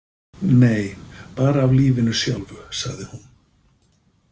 Nei, bara af lífinu sjálfu, sagði hún.